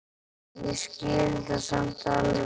Ég skil það samt alveg.